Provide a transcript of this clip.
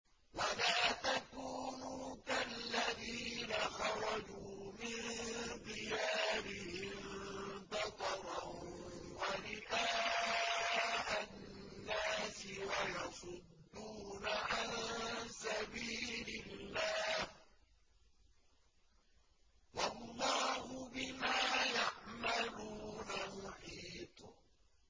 وَلَا تَكُونُوا كَالَّذِينَ خَرَجُوا مِن دِيَارِهِم بَطَرًا وَرِئَاءَ النَّاسِ وَيَصُدُّونَ عَن سَبِيلِ اللَّهِ ۚ وَاللَّهُ بِمَا يَعْمَلُونَ مُحِيطٌ